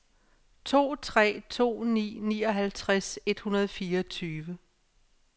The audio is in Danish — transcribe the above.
to tre to ni nioghalvtreds et hundrede og fireogtyve